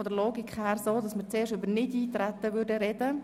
Von der Logik her würden wir zuerst über das Nichteintreten reden.